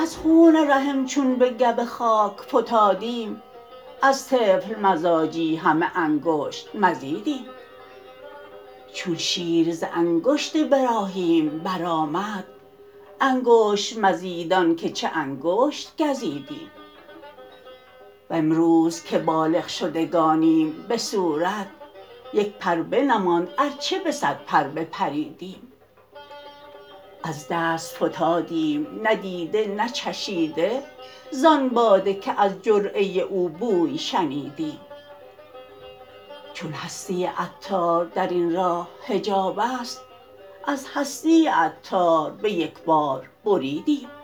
از خون رحم چون به گو خاک فتادیم از طفل مزاجی همه انگشت مزیدیم چون شیر ز انگشت براهیم برآمد انگشت مزیدان چه که انگشت گزیدیم وامروز که بالغ شدگانیم به صورت یک پر بنماند ارچه به صد پر بپریدیم از دست فتادیم نه دیده نه چشیده زان باده که از جرعه او بوی شنیدیم چون هستی عطار درین راه حجاب است از هستی عطار به یکبار بریدیم